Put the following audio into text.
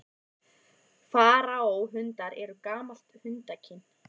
Faraó-hundar eru gamalt hundakyn.